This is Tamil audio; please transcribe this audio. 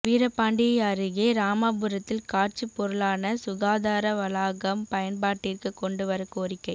வீரபாண்டி அருகே ராமாபுரத்தில் காட்சி பொருளான சுகாதார வளாகம் பயன்பாட்டிற்கு கொண்டுவர கோரிக்கை